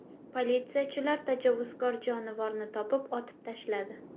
Politsiyachilar tajovuzkor jonivorni topib, otib tashladi.